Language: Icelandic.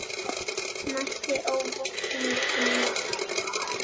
Mætti óvopnuð til leiks.